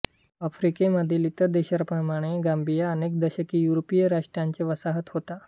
आफ्रिकेमधील इतर देशांप्रमाणे गांबिया अनेक दशके युरोपीय राष्ट्रांची वसाहत होता